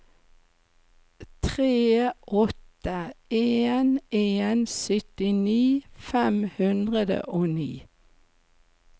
tre åtte en en syttini fem hundre og ni